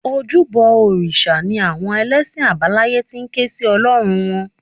Ojúbọ òrìṣà ni àwọn ẹlẹ́sìn àbáláyé ti ń ké sí Ọlọ́run wọn